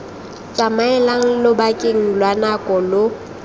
tsamaelang lobakeng lwa nako lo